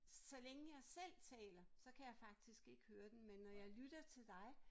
Så længe jeg selv taler så kan jeg faktisk ikke høre den men når jeg lytter til dig